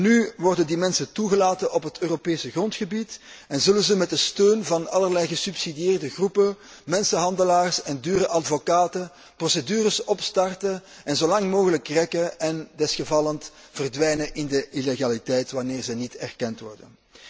Maar nu worden die mensen toegelaten op het Europees grondgebied en zullen zij met de steun van allerlei gesubsidieerde groepen, mensenhandelaars en dure advocaten procedures opstarten en zolang mogelijk rekken en desgevallend verdwijnen in de illegaliteit, wanneer zij niet erkend worden.